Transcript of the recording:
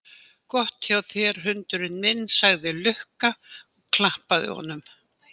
Gott hjá þér hundurinn minn, sagði Lukka og klappaði honum.